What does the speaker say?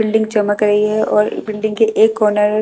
building चमक रही है और बिल्डिंग के एक कॉर्नर --